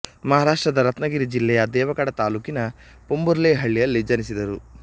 ಮಹಾರಾಷ್ಟ್ರದ ರತ್ನಗಿರಿ ಜಿಲ್ಲೆಯ ದೇವಗಢ ತಾಲ್ಲೂಕಿನ ಪೋಂಭುರ್ಲೆ ಹಳ್ಳಿಯಲ್ಲಿ ಜನಿಸಿದರು